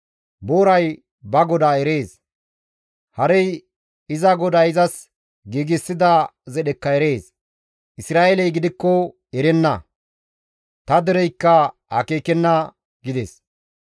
Booray ba godaa erees; harey iza goday izas giigsida zedhekka erees; Isra7eeley gidikko tana erenna; ta dereykka akeekenna» gides.